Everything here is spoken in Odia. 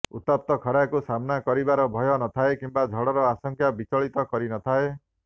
ଉତ୍ତପ୍ତ ଖରାକୁ ସାମ୍ନା କରିବାର ଭୟ ନ ଥାଏ କିମ୍ବା ଝଡ଼ର ଆଶଙ୍କା ବିଚଳିତ କରି ନଥାଏ